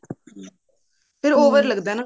ਫ਼ੇਰ over ਲੱਗਦਾ ਨਾ